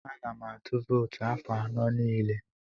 Ana m atụ vootu afọ anọ niile.